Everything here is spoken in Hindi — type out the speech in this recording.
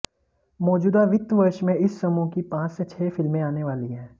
मौजूदा वित्त वर्ष में इस समूह की पांच से छह फिल्में आने वाली हैं